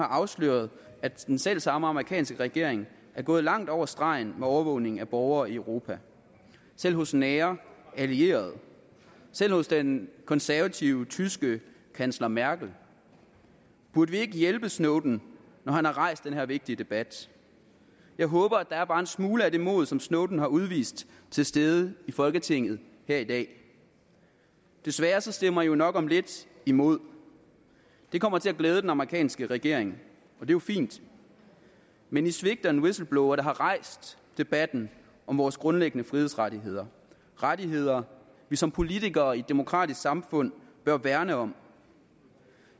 afsløret at den selv samme amerikanske regering er gået langt over stregen med overvågning af borgere i europa selv hos nære allierede selv hos den konservative tyske kansler merkel burde vi ikke hjælpe snowden når han har rejst den her vigtige debat jeg håber at der er bare en smule af det mod som snowden har udvist til stede i folketinget her i dag desværre stemmer i jo nok om lidt imod det kommer til at glæde den amerikanske regering og jo fint men i svigter en whistleblower der har rejst debatten om vores grundlæggende frihedsrettigheder rettigheder vi som politikere i et demokratisk samfund bør værne om